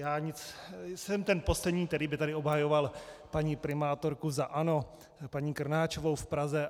Já jsem ten poslední, který by tady obhajoval paní primátorku za ANO, paní Krnáčovou v Praze.